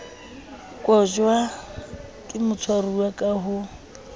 kotjwa ke motshwaruwa ka ho